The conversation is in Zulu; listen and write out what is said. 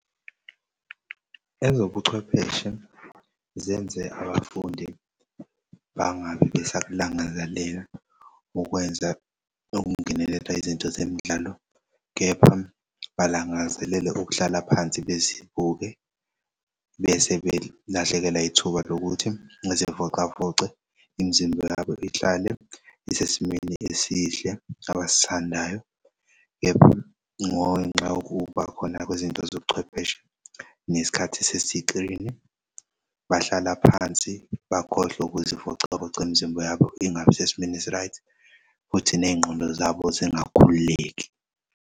Ezobuchwepheshe zenze abafundi bangabe besakulangazelela ukwenza nokungenelela izinto zemidlalo kepha balangazelela ukuhlala phansi bezibuke bese belahlekelwa ithuba lokuthi bezivocavoce imizimba yabo ihlale isesimeni esihle abasithandayo, kepha ngenxa yokuba khona kwezinto zobuchwepheshe nesikhathi sesi-clean-i bahlala phansi bakhohlwe ukuzivocavoca imizimba yabo ingabi sesimeni esi-right futhi ney'ngqondo zabo zingakhululeki.